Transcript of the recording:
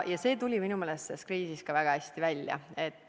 See tuli minu meelest selle kriisi ajal väga hästi välja.